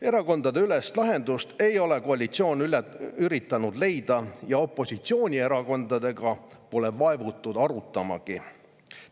Erakondadeülest lahendust ei ole koalitsioon üritanud leida ja opositsioonierakondadega pole vaevutud seda arutamagi.